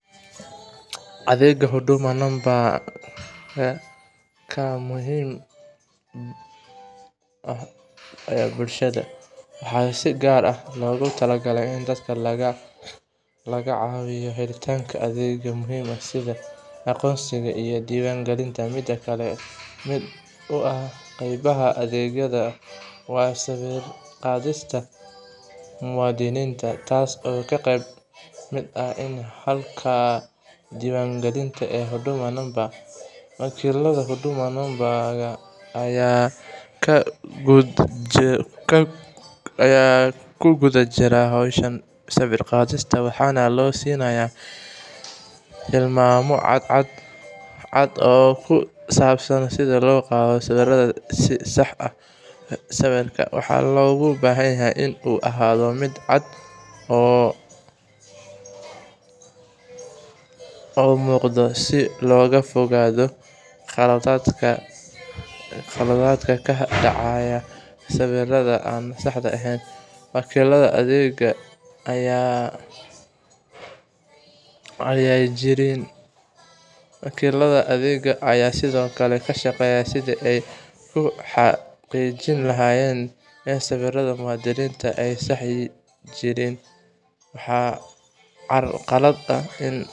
Adeegga Huduma Number-ka ayaa muhiim u ah bulshada , waxaana si gaar ah loogu talagalay in dadka laga caawiyo helitaanka adeegyo muhiim ah sida aqoonsiga iyo diiwaangelinta. Mid ka mid ah qaybaha adeeggan waa sawir qaadista muwaadiniinta, taas oo ah qeyb ka mid ah habka diiwaangelinta ee Huduma Number. WakiiladaHuduma Number-ka ayaa ku guda jira howshan sawir qaadista, waxaana la siinayaa tilmaamo cad oo ku saabsan sida loo qaado sawirada si sax ah. Sawirka waxaa loo baahan yahay in uu ahaado mid cad oo muuqda, si looga fogaado khaladaadka ka dhasha sawirada aan saxda ahayn. Wakiilada adeegga ayaa sidoo kale ka shaqeeya sidii ay ugu xaqiijin lahaayeen in sawirada muwaadiniinta aysan jirin wax carqalad ah.